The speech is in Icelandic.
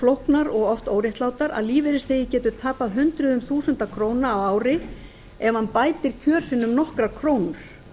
flóknar og oft óréttlátar að lífeyrisþegi getur tapað hundruðum þúsunda króna á ári ef hann bætir kjör sín um nokkrar krónur